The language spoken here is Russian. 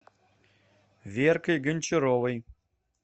веркой гончаровой